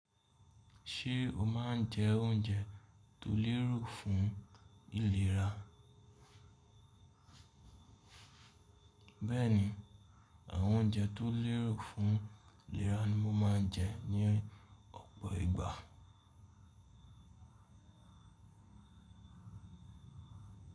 Ṣé o máa ń jẹ oúnjẹ tó lérù fún ìlera? Bẹ́ẹ̀ni, àwọn oúnjẹ tó lérù fún ìlera ni mo máa ń jẹ ní ọ̀pọ̀ ìgbà.